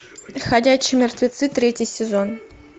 ходячие мертвецы третий сезон